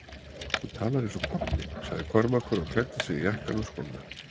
Þú talar eins og pabbi, sagði Kormákur og klæddi sig í jakkann og skóna.